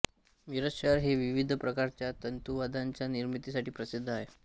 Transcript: मिरज शहर हे विविध प्रकारच्या तंतुवाद्यांच्या निर्मितीसाठी प्रसिद्ध आहे